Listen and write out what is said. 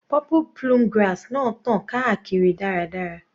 Purple plume grass náà tàn káàkiri dáradára.